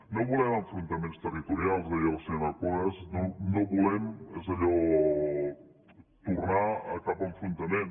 no volem enfrontaments territorials deia la senyora cuevas no volem tornar a cap enfrontament